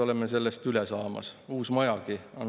Ometi ei meeldi see seadus mulle mitte üks põrm.